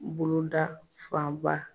N boloda fanba.